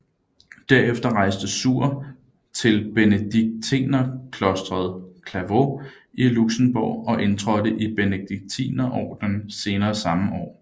Derefter rejste Suhr til benediktinerklosteret Clervaux i Luxembourg og indtrådte i Benediktinerordenen senere samme år